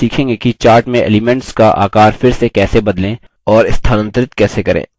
आगे हम सीखेंगे कि chart में elements का आकार फिर से कैसे बदलें और स्थानांतरित कैसे करें